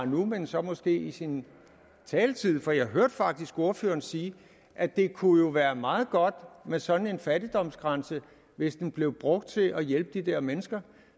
nu men så måske i sin taletid for jeg hørte faktisk ordføreren sige at det kunne jo være meget godt med sådan en fattigdomsgrænse hvis den blev brugt til at hjælpe de der mennesker